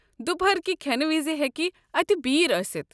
دُپہركہِ کھٮ۪نہٕ وِزِ ہیٚكہِ اتہِ بیر ٲسِتھ۔